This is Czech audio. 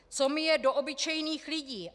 Co mi je do obyčejných lidí?